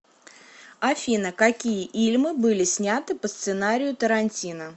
афина какие ильмы были сняты по сценарию тарантино